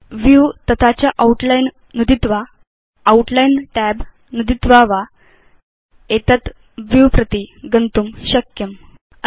view तथा च outline नुदित्वा आउटलाइन् tab नुदित्वा वा भवान् एतद् व्यू प्रति गन्तुं शक्नोति